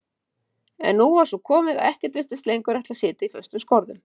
En nú var svo komið að ekkert virtist lengur ætla að sitja í föstum skorðum.